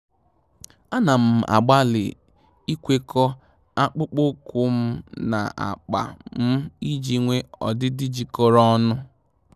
À nà m àgbàlị́ ikwekọ́ akpụkpọ́ụkwụ́ m na ákpá m iji nwee ọdịdị jikọrọ ọnụ.